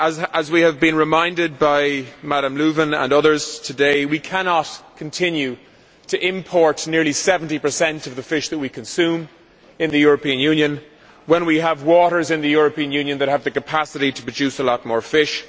As we have been reminded by Ms Lövin and others today, we cannot continue to import nearly 70 of the fish that we consume in the European Union when we have waters in the European Union that have the capacity to produce a lot more fish.